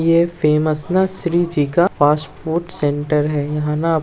ये फेमस न श्री जी का फास्ट फूड सेंटर है यहाँ ना आप --